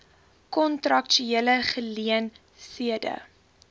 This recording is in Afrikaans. kontraktuele geleen thede